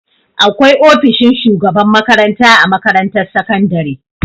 Akwai ofishin shugaban makaranta a makarantar sakandare.